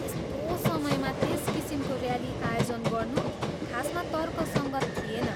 त्यस्तो समयमा त्यस किसिमको ऱ्याली आयोजन गर्नु खासमा तर्कसङ्गत थिएन।